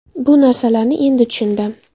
Bu narsalarni endi tushundim.